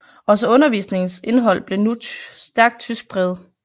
Også undervisningens indhold blev nu stærkt tyskpræget